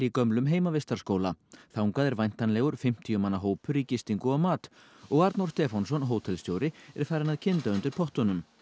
gömlum heimavistarskóla þangað er væntanlegur fimmtíu manna hópur í gistingu og mat og Arnór Stefánsson hótelstjóri er farinn að kynda undir pottunum